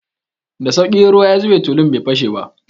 Da sauƙi, in ruwa ya zube tulun bai fashe ba.